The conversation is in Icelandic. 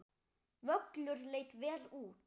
Völlur leit vel út.